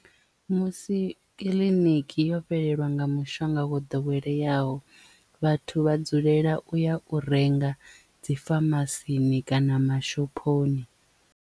Musi kiḽiniki yo fhelelwa nga mushonga wo ḓoweleyaho vhathu vha dzulela u ya u renga dzi famasini kana mashophoni.